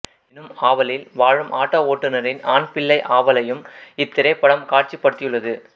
எனும் ஆவலில் வாழும் ஆட்டோ ஓட்டுநரின் ஆண் பிள்ளை ஆவலையும் இத்திரைப்படம் காட்சிப்படுத்தியுள்ளது